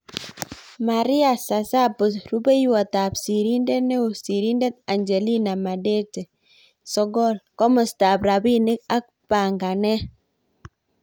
Maria Sassabo-Rupeiywot sirindet nroo-Sirindeet Anjelina Madete 9. Komostap Rapinik ak Panganeet